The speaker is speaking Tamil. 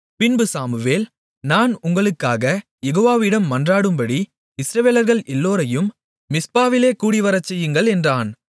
பின்பு சாமுவேல் நான் உங்களுக்காகக் யெகோவாவிடம் மன்றாடும்படி இஸ்ரவேலர்கள் எல்லோரையும் மிஸ்பாவிலே கூடிவரச்செய்யுங்கள் என்றான்